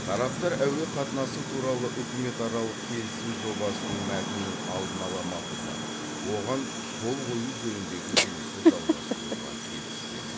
тараптар әуе қатынасы туралы үкіметаралық келісім жобасының мәтінін алдын ала мақұлдап оған қол қою жөніндегі жұмысты жалғастыруға келіскен